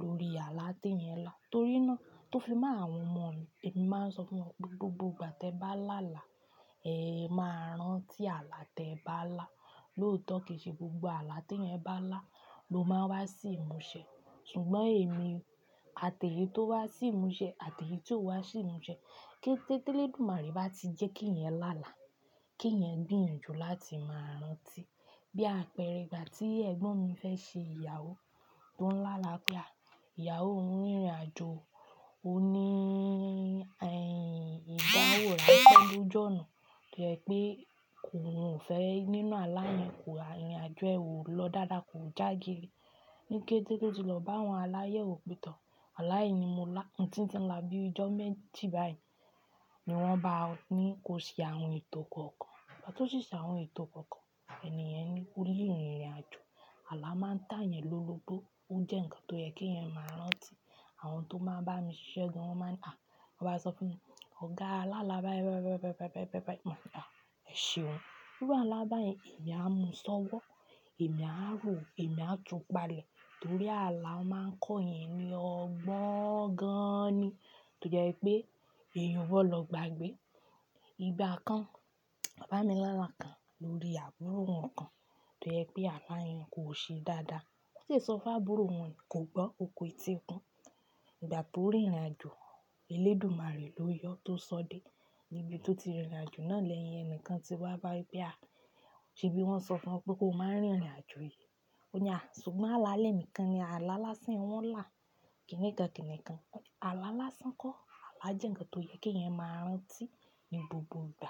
lórí àlá tí ẹ̀yan lá torí náà tó fi má àwọn ọmọ, èmi máa ń sọ fún wọn pé gbogbo ìgbà tí ẹ bá lá àlá, ẹ máa rántí àlá tí ẹ bá lá. Lóòótọ́ kì í ṣe gbogbo àlá tí ẹ̀yan bá lá ló máa wá sí ìmúṣẹ ṣùgbọ́n èmi, àtẹ̀lé tó wá sí ìmúṣẹ, àtẹ̀lé tí ò wá sí ìmúṣẹ, kí Tẹ́lẹ̀dùmarè bá ti jẹ́ kí ẹ̀yan lá àlá, kí ẹ̀yan gbéyanjù láti máa rántí. Bí àpẹẹrẹ ìgbà tí Ẹ̀gbọ́n mi fẹ́ ṣe ìyàwó tó ń lá àlá pé à, ìyàwó ò ń rìnrìn àjò, ò ní ìdánwò rẹ pẹ̀lú jọ̀ọ́na. Tó jẹ́ pé òun ò fẹ́ nínú alá yẹn, kò rìnrìn àjò, ò lọ dáadáa, kò já geree Níkẹ́tẹ́tẹ́ tó ti lọ bá àwọn aláyẹ̀wo pe tó, aláìní mú là, ǹtíǹtín là bí ojó mẹ́jì báyìí ni wọ́n bá á ní kó ṣe àwọn ètò kọ̀ọ̀kan. Ìgbà tó ṣíṣe àwọn ètò kọ̀ọ̀kan, ènìyàn ní ole rìn ìrìn àjò. Àlá máa ń tà èyàn lọ́bọ́ ó jẹ́ ǹkan tó yẹ kí ẹ̀yin máa rántí. Àwọn tó máa ń bá mi ṣẹ́gun wọ́n máa ń à, wọ́n máa sọ fún mi, "Ọ̀gá alálábá "ẹ̀ ṣeun. Bí alálábá yẹn èmi á mú ṣọ́wọ́, èmi á rò, èmi á tu palẹ̀ torí àlá máa ń kọ́ ẹ̀yin ní ọgbọ́n gan-an ni. Tó jẹ́ pé èèyàn wọ̀ lọ gbagbẹ́ igba kan, bá mi lá àlá kan lórí àbúrò wọn kan tó jẹ́ pé alá yẹn kò ṣe dáadáa. Ó sì sọ fún àbúrò wọn kò gbọ́, ò kú etí ikún. Ìgbà tó rìnrìn àjò, Elédùmarè ló yọ tó sọ dé níbi tó ti rìnrìn àjò náà lẹ́yìn ẹnìkan tí wá bá ẹ pé à, ò ṣe bí wọ́n sọ fún ẹ pé kó máa rìnrìn àjò yìí. Ó ní à, ṣùgbọ́n alálẹ̀ ẹnìkan ni, aláláṣẹ wọ́n là, kìnì kan kìnì kan. Aláláṣẹ kọ́, àlá jẹ́ ǹkan tó yẹ kí ẹ̀yan máa rántí ní gbogbo ìgbà.